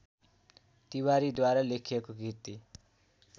तिवारीद्वारा लेखिएको कृति